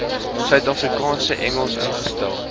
suidafrikaanse engels ingestel